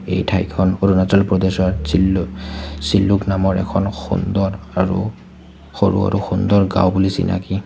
এই ঠাইখন অৰুণাচল প্ৰদেশৰ চিলো চিলোক নামৰ এখন সুন্দৰ আৰু সৰু-সৰু সুন্দৰ গাঁও বুলি চিনাকি।